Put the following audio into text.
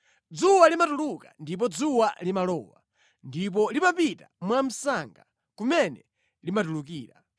Dzuwa limatuluka ndipo dzuwa limalowa ndipo limapita mwamsanga kumene limatulukira.